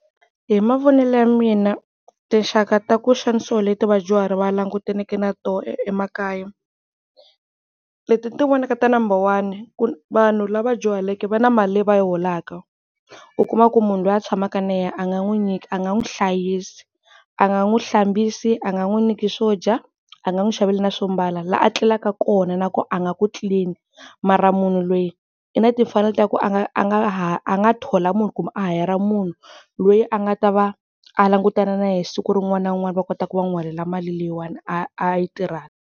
Hi mavonele ya mina tinxaka ta ku xanisiwa leti vadyuhari va langutaneke na tona emakaya, leti ni ti vonaka ta number one ku vanhu lava dyuhaleke va na mali leyi va yi holaka, u kuma ku munhu loyi a tshamaka na yena a nga n'wi nyiki a nga n'wi hlayisi a nga n'wi hlambisi, a nga n'wi nyiki swo dya, a nga n'wi xavela na swo mbala, la a tlelaka kona na kona a nga ku clean mara munhu loyi i na timfanelo ta ku a nga a nga thola munhu kumbe a hayara, munhu loyi a nga ta va a langutana na yena siku rin'wana na rin'wana va kota ku va n'wi holela mali leyiwani a a yi tirhaka.